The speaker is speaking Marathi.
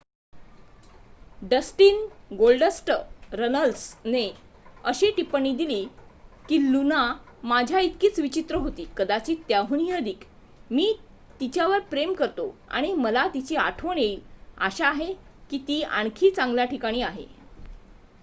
"डस्टिन "गोल्डस्ट" रनल्सने अशी टिप्पणी दिली की "लुना माझ्या इतकीच विचित्र होती...कदाचित त्याहूनही अधिक...मी तिच्यावर प्रेम करतो आणि मला तिची आठवण येईल...आशा आहे की ती आणखी चांगल्या ठिकाणी आहे.""